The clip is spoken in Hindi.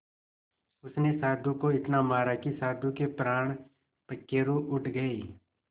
उसने साधु को इतना मारा कि साधु के प्राण पखेरु उड़ गए